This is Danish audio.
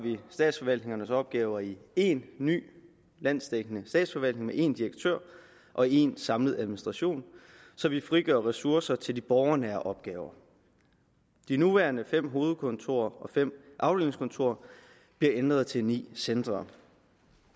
statsforvaltningernes opgaver i én ny landsdækkende statsforvaltning med en direktør og én samlet administration så vi frigør ressourcer til de borgernære opgaver de nuværende fem hovedkontorer og fem afdelingskontorer bliver ændret til ni centre